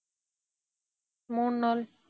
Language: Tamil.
மூணு நாள்.